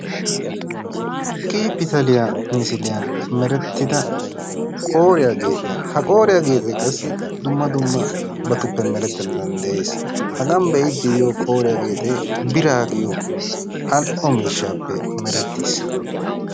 K pitaliyaa misiliyaan meretida qooriyaa geexiyaa. ha qooriyaa geexe qassi dumma dummabatuppe meretanna danddayees. ha de'ide diyo qooriyaa geexe bira giyo al''o miishshappe merettiis.